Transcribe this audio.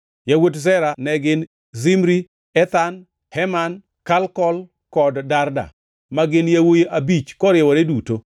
Yawuot Zera ne gin: Zimri, Ethan, Heman, Kalkol kod Darda, ma gin yawuowi abich koriwore duto.